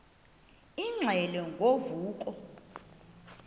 ingxelo ngo vuko